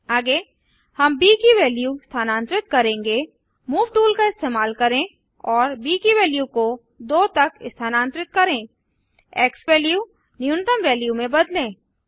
आगे हम ब की वैल्यू स्थानांतरित करेंगे मूव टूल का इस्तेमाल करें और ब की वैल्यू को 2 तक स्थानांतरित करें एक्सवैल्यू न्यूनतम वैल्यू की में बदलें